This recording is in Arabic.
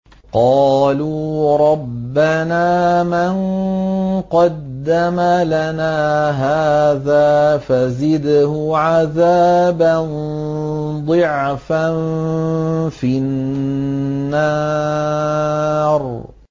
قَالُوا رَبَّنَا مَن قَدَّمَ لَنَا هَٰذَا فَزِدْهُ عَذَابًا ضِعْفًا فِي النَّارِ